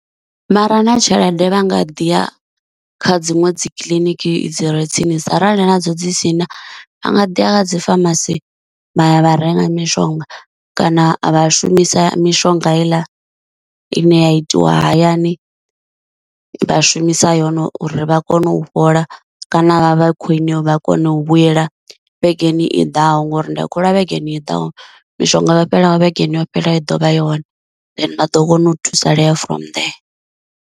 Vhare na tshelede vha nga ḓi ya kha dziṅwe dzi kiliniki dzi re tsinisa, arali nadzo dzi si na a nga ḓi a dzi pharmacy vha ya vha renga mishonga, kana a vha shumisa mishonga heiḽa ine ya itiwa hayani, vha shumisa yone uri vha kone u fhola kana vha vha khwiṋe vha kona u vhuyela vhegeni i ḓaho ngori ndi a kholwa vhegeni i ḓaho mishonga yo fhelaho vhegeni yo fhelaho i ḓovha i hone then vha ḓo kona u thusalea from then.